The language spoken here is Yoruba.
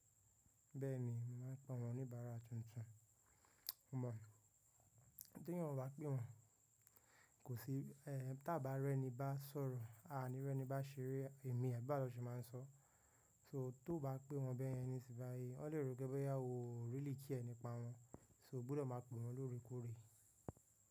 Bẹ́ẹ̀ni, màá ń pe àwọn oníbàárà tuntun. Tí èèyàn o bá pè wọ́n, kò sí, tí à bá rẹ́ni bá sọ̀rọ̀, a o ní rẹ́ni bá ṣeré, àbí bawo ni won se máa ń sọ. So tó bá pè wọ́n bẹ́ẹ̀ yẹn nísìnyí, wọ́n lè rò pé boyá oo really care nipa wọ́n. So ó gbúdọ̀ máa pè wọ́n lóore kóòrè.